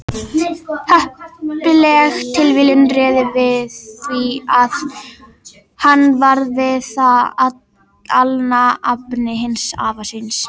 Heppileg tilviljun réði því að hann varð við það alnafni hins afa síns.